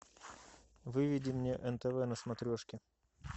выведи мне нтв на смотрешке